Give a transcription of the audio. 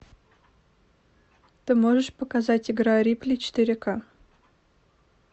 ты можешь показать игра рипли четыре ка